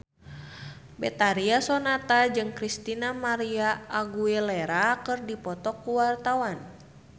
Betharia Sonata jeung Christina María Aguilera keur dipoto ku wartawan